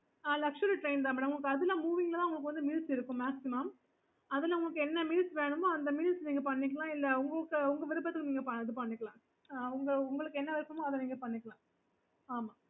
ஆஹ் luxury train தான் madam அதுல உங்களுக்கு moving ல தான் meals இருக்கும் maximum அதுல உங்களுக்கு என்ன meals வேணுமோ அந்த meals நீங்க பண்ணிக்கலாம் இல்ல உங்க விருப்பத்துக்கு நீங்க இது பண்ணிக்கலாம் ஆஹ் உங்களுக்கு எது வேணுமோ அதா பண்ணிக்கலாம்